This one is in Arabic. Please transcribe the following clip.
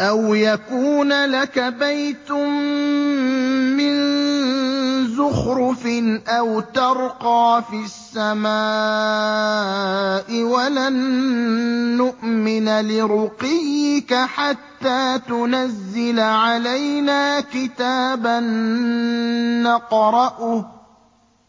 أَوْ يَكُونَ لَكَ بَيْتٌ مِّن زُخْرُفٍ أَوْ تَرْقَىٰ فِي السَّمَاءِ وَلَن نُّؤْمِنَ لِرُقِيِّكَ حَتَّىٰ تُنَزِّلَ عَلَيْنَا كِتَابًا نَّقْرَؤُهُ ۗ